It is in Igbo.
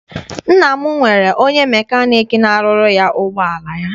Nna m nwere onye mecanic n'arụrụ ya ụgbọala ya.